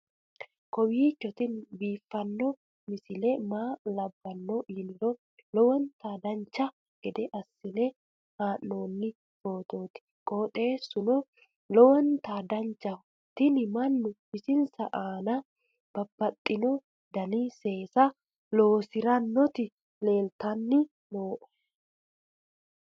kowiicho tini biiffanno misile maa labbanno yiniro lowonta dancha gede assine haa'noonni foototi qoxeessuno lowonta danachaho. tini mannu bisinsa aana babbaxxino dani seesa loosirinoti leeltanni nooe